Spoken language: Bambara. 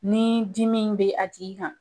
Ni dimi in bɛ a tigi kan